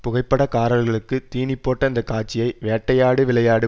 புகைப்படக்காரர்களுக்கு தீனிப்போட்ட இந்த காட்சியை வேட்டையாடு விளையாடு